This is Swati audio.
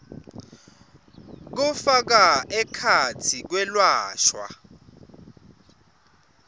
kufaka ekhatsi kwelashwa